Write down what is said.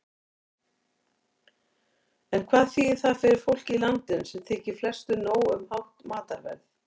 En hvað þýðir það fyrir fólkið í landinu, sem þykir flestu nóg um hátt matarverð?